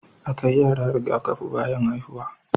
A kai yara Riga kafi bayan haihuwa